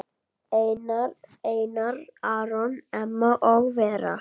Einar Aron, Emma og Vera.